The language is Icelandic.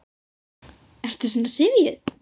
Ertu svona syfjuð?